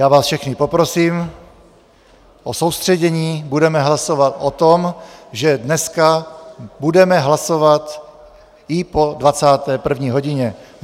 Já vás všechny poprosím o soustředění, budeme hlasovat o tom, že dneska budeme hlasovat i po 21. hodině.